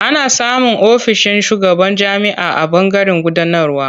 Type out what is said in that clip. Ana samun ofishin shugaban jami'a a ɓangaren gudanarwa.